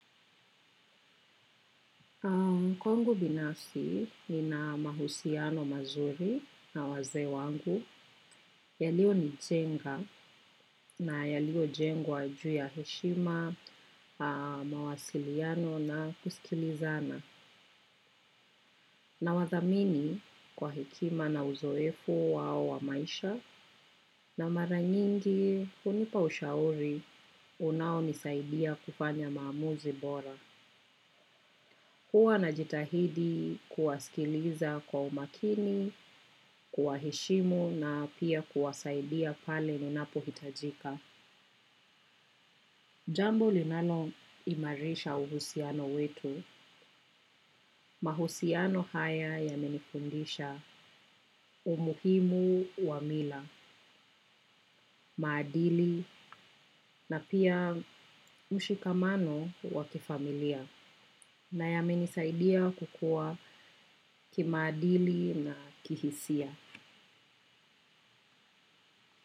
Kwangu binafsi ni na mahusiano mazuri na wazee wangu, yalio ni jenga na yalio jengwa juu ya heshima, mawasiliano na kusikilizana. Na wadhamini kwa hekima na uzoefu wao wa maisha na mara nyingi hunipa ushauri unao nisaidia kufanya maamuzi bora. Huwa na jitahidi kuwasikiliza kwa umakini, kuwaheshimu na pia kuwasaidia pale ninapohitajika. Jambo linalo imarisha uhusiano wetu. Mahusiano haya yamenifundisha umuhimu wa mila, maadili na pia mshikamano wakifamilia na ya menisaidia kukua kimaadili na kihisia.